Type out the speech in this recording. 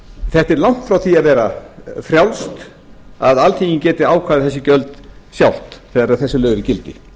þetta er langt frá því að vera frjálst að alþingi geti ákveðið þessi gjöld sjálft þegar þessi lög eru í gildi